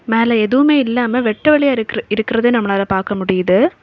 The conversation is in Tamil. மேல எதுவுமே இல்லாம வெட்ட வலியா இருக் இருக்கிறது நம்மளால பாக்க முடியுது.